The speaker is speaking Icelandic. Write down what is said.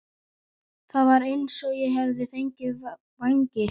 Það var eins og ég hefði fengið vængi.